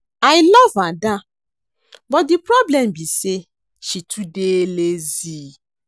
I love Ada but the problem be say she too dey lazy